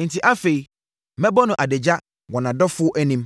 Enti afei mɛbɔ no adagya wɔ nʼadɔfoɔ anim;